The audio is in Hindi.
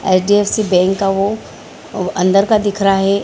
एच.डी.ऍफ़.सी. बैंक का वो वो अन्दर का दिख रहा है।